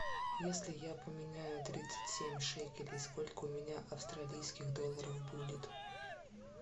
если я поменяю тридцать семь шекелей сколько у меня австралийских долларов будет